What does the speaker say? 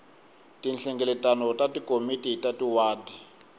tinhlengeletano ta tikomiti ta tiwadi